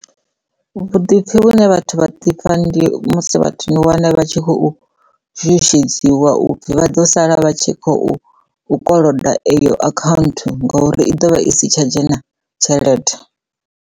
Vhuḓipfi vhune vhathu vha ḓipfa ndi musi vhathu ni wane vha tshi khou tshutshudziwa upfhi vha ḓo sala vha tshi khou koloda eyo account ngori i ḓovha i si tsha dzhena tshelede.